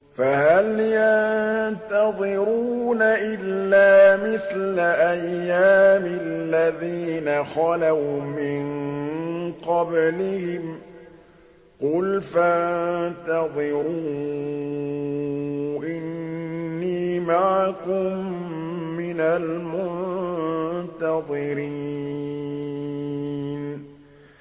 فَهَلْ يَنتَظِرُونَ إِلَّا مِثْلَ أَيَّامِ الَّذِينَ خَلَوْا مِن قَبْلِهِمْ ۚ قُلْ فَانتَظِرُوا إِنِّي مَعَكُم مِّنَ الْمُنتَظِرِينَ